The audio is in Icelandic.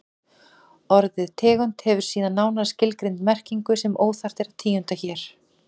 Orðið tegund hefur síðan nánar skilgreinda merkingu sem óþarft er að tíunda hér.